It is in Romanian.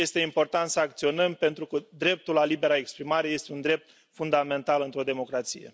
Este important să acționăm pentru că dreptul la libera exprimare este un drept fundamental într o democrație.